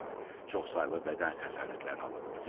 Çoxsaylı bədən xəsarətləri alıb.